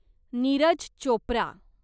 Neeraj Chopra